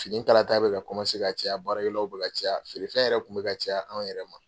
Fini kalata bɛ ka ka caya baara kɛlaw bɛ ka caya feere fɛn yɛrɛ kun bɛ ka caya anw yɛrɛ ma.